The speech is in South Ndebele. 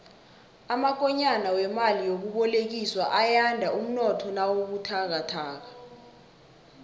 amakonyana wemali yokubolekiswa ayanda umnotho nawubuthakathaka